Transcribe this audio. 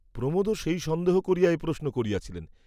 প্রমোদও সেই সন্দেহ করিয়া এ প্রশ্ন করিয়াছিলেন।